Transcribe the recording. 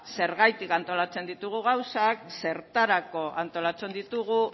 zergatik antolatzen ditugun gauzak zertarako antolatzen ditugun